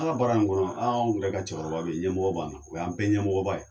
An ka baara in kɔnɔ anw ka cɛkɔrɔba bɛ yen ɲɛmɔgɔ b'an na o y'an bɛɛ ɲɛmɔgɔba ye